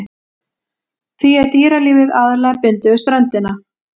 Því er dýralífið aðallega bundið við ströndina.